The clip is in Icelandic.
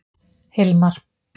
Hilmar